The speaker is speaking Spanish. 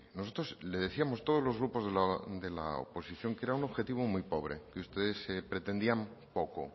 nosotros le decíamos todos los grupos de la oposición que era un objetivo muy pobre que ustedes pretendían poco